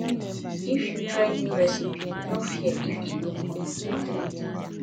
if you try new recipe no fear if e no come out perfect